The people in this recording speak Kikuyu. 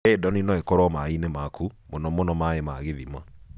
Radon no ĩkoro maĩnĩ maku, mũno mũno maĩ ma gĩthima.